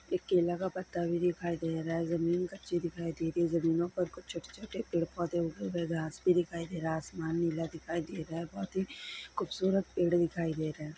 एक केला का पत्ता भी दिखाई दे रहा है| जमीन कच्ची दिखाई दे रही है| ज़मीनों पर कुछ छोटे छोटे पैड पौधे उगे हुए है| घास भी दिखाई दे रहा है| आसमान नीला दिखाई दे रहा है| बहोत ही खूबसूरत पैड दिखाई दे रहा है।